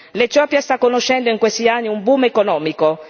L'Etiopia sta conoscendo in questi anni un boom economico.